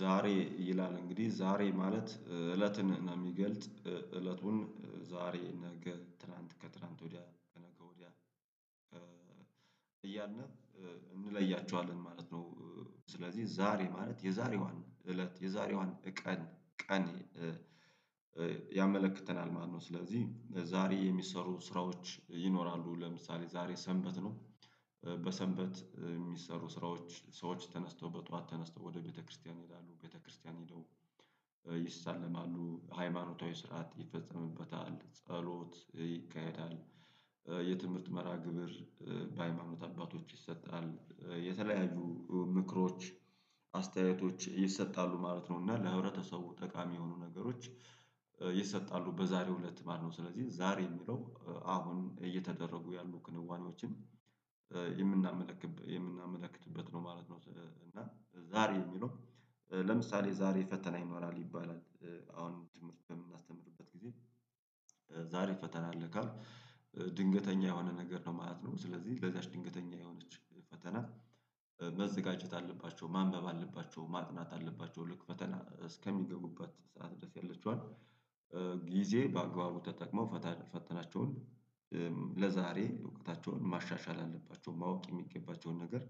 ዛሬ ይላል እንግዲህ ዛሬ ማለት እለትን የሚገልጥ እለቱን ዛሬ ነገ ትላንት ከትላንት ወዲያ ከነገ ወዲያ እያልን እንለያቸዋለን ማለት ነው። ስለዚህ ዛሬ ማለት የዛሬዋን እለት የዛሬዋን ቀን ቀን ያመለክተናል ማለት ነው። ስለዚህ ዛሬ የሚሰሩ ስራዎች ይኖራሉ ለምሳሌ ዛሬ ሰንበት ነው። በሰንበት የሚሰሩ ስራዎች ሰዎች ተነስተው በጧት ተነስተው ወደ ቤተክርስቲያን ይሄዳሉ ቤተክርስቲያን ሄደው ይሳለማሉ ሃይማኖታዊ ስርዓት ይፈጸምበታል ጸሎት ይካሄዳል። የትምህርት መርሃግብር በሃይማኖት አባቶች ይሰጣል የተለያዩ ምክሮች አስተያየቶች ይሰጣሉ ማለት ነው። እና ለህብረተሰቡ ጠቃሚ የሆኑ ነገሮች ይሰጣሉ በዛሬው እለት ማነው? ስለዚህ ዛሬ የሚለው አሁን እየተደረጉ ያሉ ክንዋኔዎችን የምናመለክት የምናመለክትበት ነው ማለት ነው። እና ዛሬ የሚለው ለምሳሌ ዛሬ ፈተና ይኖራል ይባላል። አሁን ትምህርት በምናስተምርበት ጊዜ ዛሬ ፈተና አለ ካልኩ። ድንገተኛ የሆነ ነገር ነው ማለት ነው። ስለዚህ ለዛች ድንገተኛ የሆነች ፈተና መዘጋጀት አለባቸው ማንበብ አለባቸው ማጥናት አለባቸው ልክ ፈተና እስከሚገቡበት ሰዓት ድረስ ያለችዋን ጊዜ በአግባቡ ተጠቅመው ፈተናቸውን ለዛሬ እውቀታቸውን ማሻሻል አለባቸው ማወቅ የሚገባቸውን ነገር።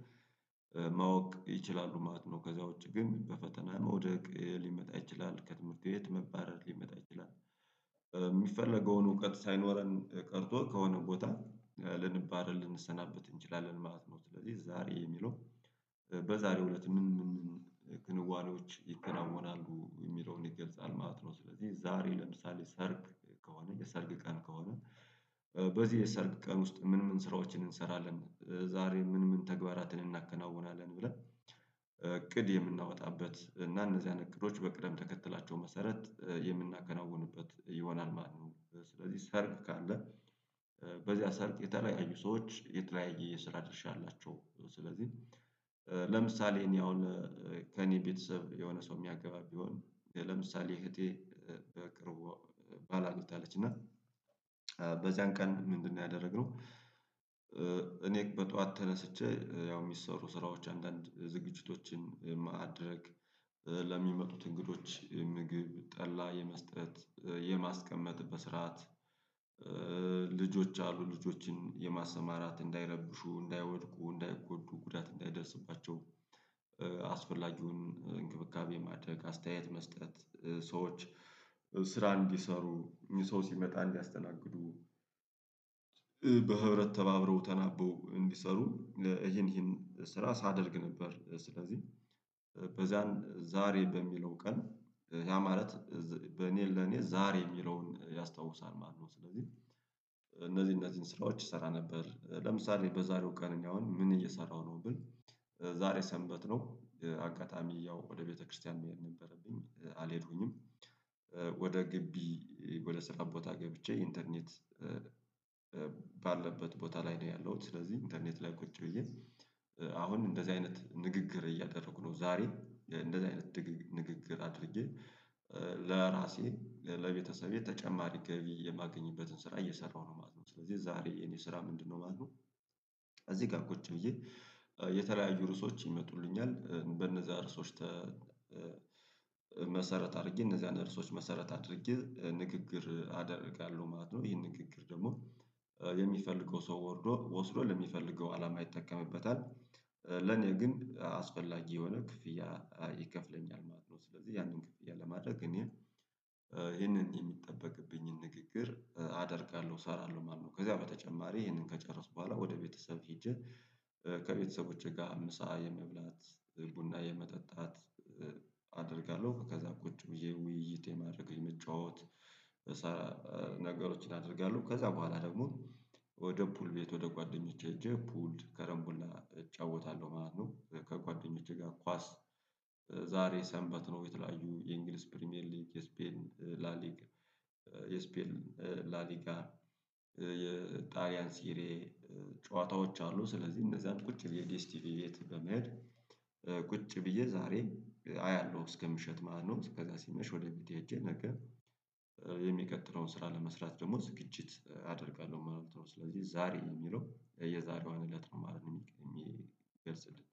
ማወቅ ይችላሉ ማለት ነው። ከዛ ውጪ ግን በፈተና ነው መውደቅ ሊመጣ ይችላል ከትምህርት ቤት መባረር ሊመጣ ይችላል። የሚፈለገውን እውቀት ሳይኖረን ቀርቶ ከሆነ ቦታ ልንባረር ልንሰናበት እንችላለን ማለት ነው። ስለዚህ ዛሬ የሚለው በዛሬው እለት ምን ምን ክንዋኔዎች ይከናወናሉ የሚለውን ይገልጻል ማለት ነው። ስለዚህ ዛሬ ለምሳሌ ሰርግ ከሆነ የሰርግ ቀን ከሆነ። በዚህ የሰርግ ቀን ውስጥ ምን ምን ስራዎችን እንሰራለን ዛሬ ምን ምን ተግባራትን እናከናውናለን ብለን እቅድ የምናወጣበት እና እነዚህ አይነት እቅዶች በቅደም ተከተላቸው መሰረት የምናከናውንበት ይሆናል ማለት ነው። ስለዚህ ሰርግ ካለ በዚያ ሰርግ የተለያዩ ሰዎች የተለያየ የስራ ድርሻ አላቸው። ስለዚህ ለምሳሌ እኔ አሁን ከእኔ ቤተሰብ የሆነ ሰው የሚያገባ ቢሆን ለምሳሌ እህቴ በቅርቡ ባላ አግብታለች እና በዚያን ቀን ምንድነው ያደረግነው? እኔ በጧት ተነስቼ ያው የሚሰሩ ስራዎች አንዳንድ ዝግጅቶችን ማደርግ ለሚመጡት እንግዶች ምግብ ጠላ የመስጠት የማስቀመጥ በስርዓት ልጆች አሉ ልጆችን የማሰማራት እንዳይረብሹ እንዳይወድቁ እንዳይጎዱ ጉዳት እንዳይደርስባቸው። አስፈላጊውን እንክብካቤ ማድረግ አስተያየት መስጠት። ስራ እንዲሰሩ ሰው ሲመጣ እንዲያስተናግዱ። በህብረት ተባብረው ተናበው እንዲሰሩ ይሄን ይሄን ስራ ሳደርግ ነበር። ስለዚህ በዚያን ዛሬ በሚለው ቀን ያ ማለት በኔ ለኔ ዛሬ የሚለውን ያስታውሳል ማለት ነው። ስለዚህ እነዚህ እነዚህን ስራዎች ስሰራ ነበር ለምሳሌ በዛሬው ቀን እኔ አሁን ምን እየሰራሁ ነው ብል ዛሬ ሰንበት ነው። አጋጣሚ ያው ወደ ቤተክርስቲያን መሄድ ነበረብኝ አልሄድኩኝም። ወደ ግቢ ወደ ስራ ቦታ ገብቼ ኢንተርኔት ባለበት ቦታ ላይ ነው ያለውት ስለዚህ ኢንተርኔት ላይ ቁጭ ብዬ። አሁን እንደዚህ አይነት ንግግር እያደረኩ ነው። ዛሬ እንደዚህ አይነት ንግግር አድርጌ ለራሴ ለቤተሰቤ ተጨማሪ ገቢ የማገኝበትን ስራ እየሰራሁ ነው ማለት ነው። ስለዚህ ዛሬ የኔ ስራ ምንድነው ማለት ነው? እዚህ ጋር ቁጭ ብዬ የተለያዩ ርዕሶች ይመጡልኛል በእነዛ ርዕሶች መሰረት አድርጌ እነዛን ርዕሶች መሰረት አድርጌ ንግግር አደርጋለሁ ማለት ነው። ይሄን ንግግር ደግሞ የሚፈልገው ሰው ወርዶ ወስዶ ለሚፈልገው አላማ ይጠቀምበታል። ለኔ ግን አስፈላጊ የሆነ ክፍያ ይከፍለኛል ማለት ነው። ስለዚህ ያንን ክፍያ ለማድረግ እኔ ይሄንን የሚጠበቅብኝን ንግግር አደርጋለሁ እሰራለሁ ማለት ነው። ከዛ በተጨማሪ ይሄንን ከጨረስኩ በኋላ ወደ ቤተሰብ ሄጄ ከቤተሰቦቼ ጋር ምሳ የመብላት ቡና የመጠጣት። አደርጋለሁ ከዛ ቁጭ ብዬ ውይይት የማድረግ የመጫወት ነገሮችን አደርጋለሁ። ከዛ በኋላ ደግሞ ወደ ፑል ቤት ወደ ጓደኞቼ ሄጄ ፑል ከረንቡላ እጫወታለሁ ማለት ነው። ከጓደኞቼ ጋር ኳስ ዛሬ ሰንበት ነው የተለያዩ የእንግሊዝ ፕሪሚየር ሊግ የስፔን ላሊጋ የስፔን ላሊጋ የጣሊያን ሲሬ ጨዋታዎች አሉ። ስለዚህ እነዛን ቁጭ ብዬ ዴስቲቪ ቤት በመሄድ ቁጭ ብዬ ዛሬ አያለሁ እስከ ምሽት ማለት ነው። ከዛ ሲመሽ ወደ ቤቴ እጄ ነገ የሚቀጥለውን ስራ ለመስራት ደግሞ ዝግጅት አደርጋለሁ ማለት ነው። ስለዚህ ዛሬ የሚለው የዛሬዋን እለት ነው የሚገልጽልኝ